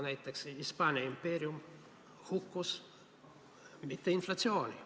Näiteks Hispaania impeerium ei hukkunud mitte inflatsiooni tõttu.